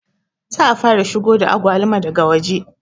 Za a fara shigo da agwaluma daga waje